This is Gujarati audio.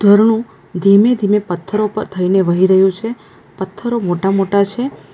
રણું ધીમે-ધીમે પથ્થરો પર થઈને વહી રહ્યુ છે પથ્થરો મોટા-મોટા છે.